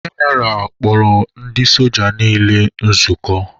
General kpọrọ ndị soja niile nzukọ.